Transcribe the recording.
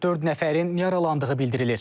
Dörd nəfərin yaralandığı bildirilir.